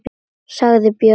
sagði Björn.